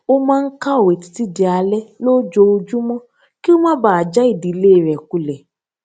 ó máa ń kàwé títí di alé lójoojúmó kí ó má baà já ìdílé rè kulẹ